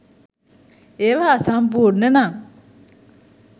ඒවා අසම්පූර්ණ නම්